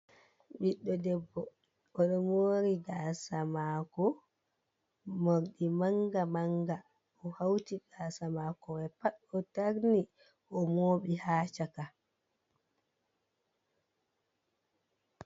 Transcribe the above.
Ɓiɗɗo debbo, o ɗo moori gaasa maako, moorɗi mannga mannga, o hawti gaasa maako may pat, o tarni, o mooɓi haa caka.